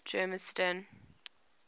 germiston